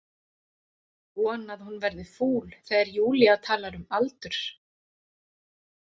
Von að hún verði fúl þegar Júlía talar um aldur.